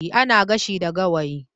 Ana gashi da Gawayi